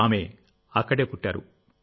ఆమె అక్కడే పుట్టారు